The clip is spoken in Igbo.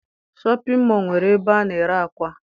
Shọpịn mọọ nwere ebe a na-ere ákwà.